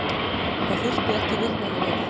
Það þurfti ekki vitnanna við.